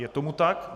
Je tomu tak.